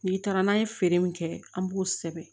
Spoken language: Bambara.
N'i taara n'a ye feere min kɛ an b'o sɛbɛn